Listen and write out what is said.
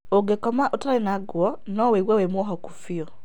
Ũngĩkoma ũtarĩ ngũo no wĩigũe wĩ mũohoku bĩũ